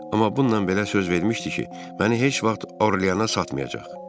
Amma bununla belə söz vermişdi ki, məni heç vaxt Orleanə satmayacaq.